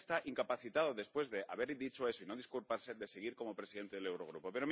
Y usted está incapacitado, después de haber dicho eso y no disculparse, para seguir como presidente del Eurogrupo.